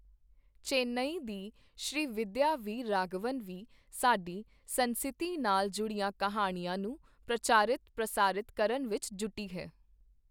ਚੇਨੱਈ ਦੀ ਸ਼੍ਰੀਵਿੱਦਿਆ ਵੀਰ ਰਾਘਵਨ ਵੀ ਸਾਡੀ ਸੰਸਿਤੀ ਨਾਲ ਜੁੜੀਆਂ ਕਹਾਣੀਆਂ ਨੂੰ ਪ੍ਰਚਾਰਿਤ, ਪ੍ਰਸਾਰਿਤ ਕਰਨ ਵਿੱਚ ਜੁਟੀ ਹੈ।